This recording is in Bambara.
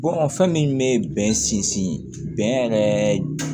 fɛn min bɛ bɛn sinsin bɛn bɛn yɛrɛ